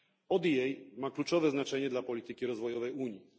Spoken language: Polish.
ODA ma kluczowe znaczenie dla polityki rozwojowej Unii.